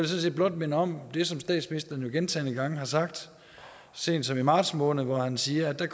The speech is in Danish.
set blot minde om det som statsministeren gentagne gange har sagt senest i marts måned hvor han siger at der